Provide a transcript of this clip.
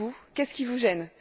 Qu'est ce qui vous gêne?